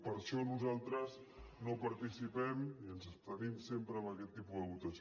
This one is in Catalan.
per això nosaltres no participem i ens abstenim sempre en aquest tipus de votació